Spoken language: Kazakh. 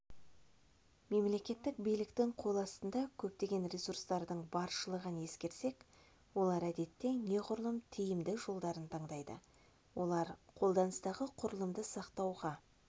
мемлекеттік биліктің қол астында көптеген ресурстардың баршылығын ескерсек олар әдетте неғұрлым тиімді жолдарын таңдайды олар қолданыстағы құрылымды сақтауға